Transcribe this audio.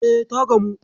E, ta gamu.